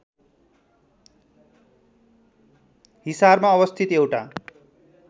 हिसारमा अवस्थित एउटा